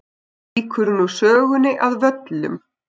Víkur nú sögunni að Völlum.